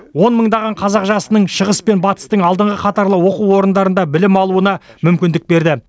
он мыңдаған қазақ жасының шығыс пен батыстың алдыңғы қатарлы оқу орындарында білім алуына мүмкіндік берді